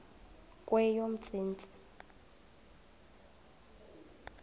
kweyomntsintsi